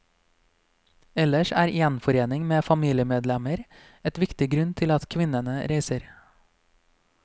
Ellers er gjenforening med familiemedlemmer en viktig grunn til at kvinnene reiser.